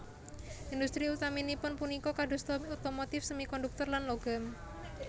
Industri utaminipun punika kadosta otomotif semikonduktor lan logam